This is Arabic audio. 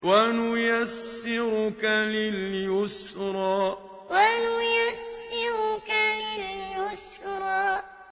وَنُيَسِّرُكَ لِلْيُسْرَىٰ وَنُيَسِّرُكَ لِلْيُسْرَىٰ